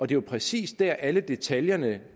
det er præcis der alle detaljerne